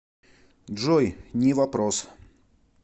джой не вопрос